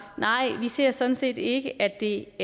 at nej vi ser sådan set ikke at det